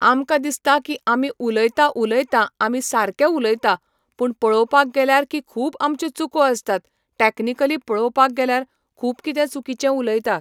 आमकां दिसता की आमी उलयता उलयता आमी सारके उलयता पूण पळोवपाक गेल्यार की खूब आमच्यो चुको आसतात टॅकनिकली पळोवपाक गेल्यार खूब कितें चुकीचें उलयता.